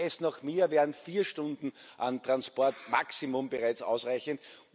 Ginge es nach mir, wären vier Stunden an Transport Maximum bereits ausreichend.